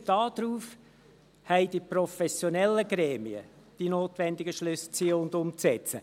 Basierend darauf haben die professionellen Gremien die notwendigen Schlüsse zu ziehen und umzusetzen.